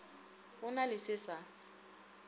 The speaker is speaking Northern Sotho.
go na le se sa